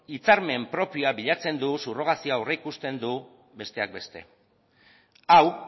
hitzarmen propioa bilatzen du subrogazioa aurreikusten du besteak beste hau